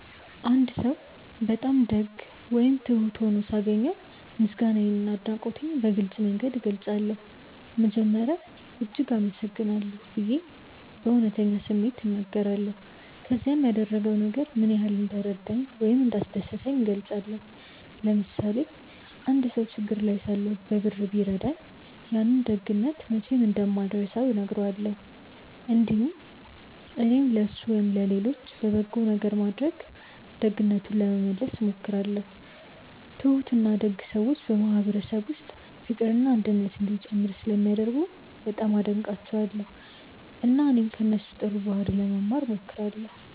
አንድ ሰው በጣም ደግ ወይም ትሁት ሆኖ ሳገኘው ምስጋናዬንና አድናቆቴን በግልጽ መንገድ እገልጻለሁ። መጀመሪያ “እጅግ አመሰግናለሁ” ብዬ በእውነተኛ ስሜት እናገራለሁ፣ ከዚያም ያደረገው ነገር ምን ያህል እንደረዳኝ ወይም እንዳስደሰተኝ እገልጻለሁ። ለምሳሌ አንድ ሰው ችግር ላይ ሳለሁ በብር ቢረዳኝ፣ ያንን ደግነት መቼም እንደማልረሳው እነግረዋለሁ። እንዲሁም እኔም ለእሱ ወይም ለሌሎች በጎ ነገር በማድረግ ደግነቱን ለመመለስ እሞክራለሁ። ትሁትና ደግ ሰዎች በማህበረሰብ ውስጥ ፍቅርና አንድነት እንዲጨምር ስለሚያደርጉ በጣም አደንቃቸዋለሁ፣ እና እኔም ከእነሱ ጥሩ ባህሪ ለመማር እሞክራለሁ።